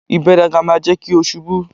Ìgbéraga máa jẹ́ kí o ṣubú.!